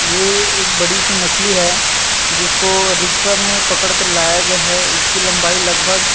ये एक बड़ी -सी मछली है जिसको रिक्शा में पकड़ कर लाया गया है इसकी लम्बाई लगभग --